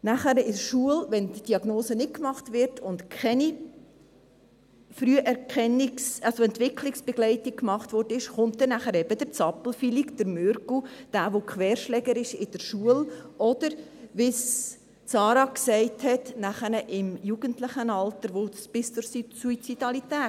Nachher in der Schule, wenn diese Diagnose nicht gestellt wird und keine Früherkennung-, also Entwicklungsbegleitung gemacht wurde, kommt dann eben der «Zappelphilipp», der «Mürgel», der in der Schule Querschläger ist, oder es geht dann, wie Sarah Gabi gesagt hat, im Jugendlichenalter bis zur Suizidalität.